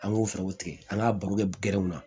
An ŋ'o fɛɛrɛw tigɛ an k'a baro kɛ gɛrɛw na